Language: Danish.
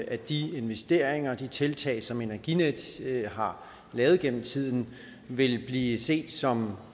at de investeringer og de tiltag som energinet har lavet igennem tiden vil blive set som